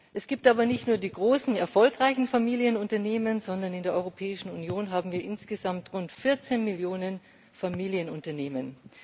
Es gibt aber nicht nur die großen, erfolgreichen Familienunternehmen, sondern in der Europäischen Union haben wir insgesamt rund 14 Millionen Familienunternehmen.